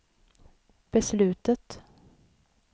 beslutet